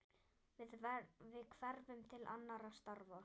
Við hverfum til annarra starfa.